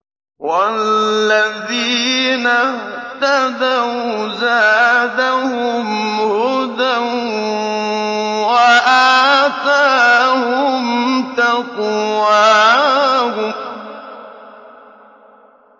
وَالَّذِينَ اهْتَدَوْا زَادَهُمْ هُدًى وَآتَاهُمْ تَقْوَاهُمْ